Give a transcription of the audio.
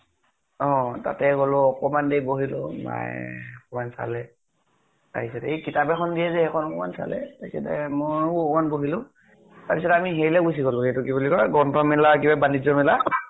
অ । তাতে গʼলো, অকনমান দেৰি বহিলো । মায়ে অকনমান চালে । তাৰ পিছত এই কিতাপ এখন দিয়ে যে, সেইখন অকনমান চালে । তাৰপিছতে ময়ো অকনমান বহিলো । তাৰপিছত আমি হেৰি লৈ গুছি গʼলো, সেইটো কি বুলি কয়, গ্ৰন্থমেলা, কিবা বানিজ্য় মেলা